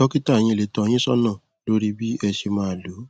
dọkítà yín lè tọ ọ yín sọnà lórí bí ẹ ṣe máa lò ó